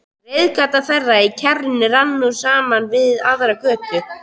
Reiðgata þeirra í kjarrinu rann nú saman við aðra götu.